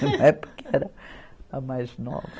Na época era a mais nova.